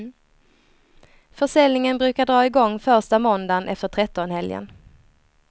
Försäljningen brukar dra i gång första måndagen efter trettonhelgen.